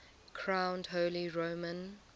crowned holy roman